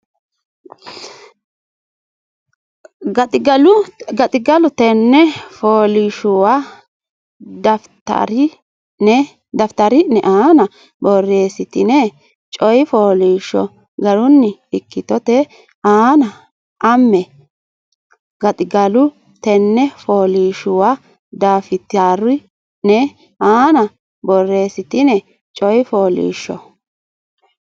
Gaxigalu tenne fooliishshuwa dafitari ne aana borreessitine coy fooliishsho garinni ikkitote anna ame Gaxigalu tenne fooliishshuwa dafitari ne aana borreessitine coy fooliishsho.